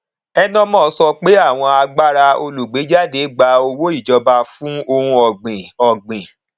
enemoh sọ pé àwọn agbára olùgbééjáde gba owó ìjọba fún ohun ọgbìn ọgbìn